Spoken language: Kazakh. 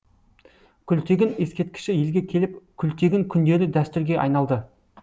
күлтегін ескерткіші елге келіп күлтегін күндері дәстүрге айналды